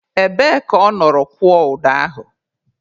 Ebee ka ọ nọrọ kwụọ ụdọ ahụ?